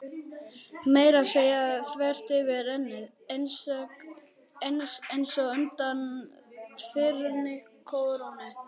Meira að segja þvert yfir ennið, einsog undan þyrnikórónu.